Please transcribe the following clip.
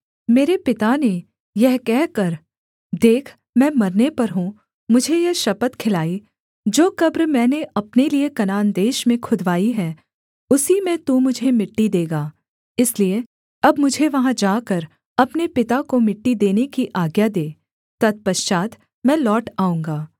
मेरे पिता ने यह कहकर देख मैं मरने पर हूँ मुझे यह शपथ खिलाई जो कब्र मैंने अपने लिये कनान देश में खुदवाई है उसी में तू मुझे मिट्टी देगा इसलिए अब मुझे वहाँ जाकर अपने पिता को मिट्टी देने की आज्ञा दे तत्पश्चात् मैं लौट आऊँगा